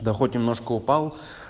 да хоть немножко упал